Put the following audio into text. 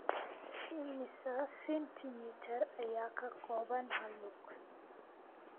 Immisa senti mitir ayaa ka kooban hal lug?